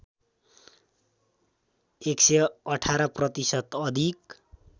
११८ प्रतिशत अधिक